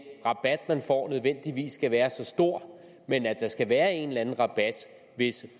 rabat man får nødvendigvis skal være så stor men at der skal være en eller anden rabat hvis